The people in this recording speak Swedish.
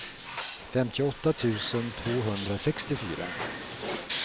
femtioåtta tusen tvåhundrasextiofyra